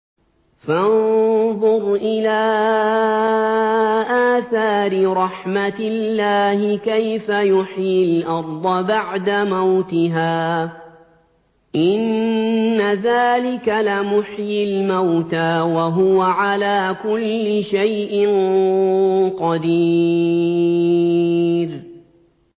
فَانظُرْ إِلَىٰ آثَارِ رَحْمَتِ اللَّهِ كَيْفَ يُحْيِي الْأَرْضَ بَعْدَ مَوْتِهَا ۚ إِنَّ ذَٰلِكَ لَمُحْيِي الْمَوْتَىٰ ۖ وَهُوَ عَلَىٰ كُلِّ شَيْءٍ قَدِيرٌ